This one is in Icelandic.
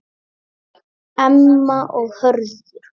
Emma og Hörður.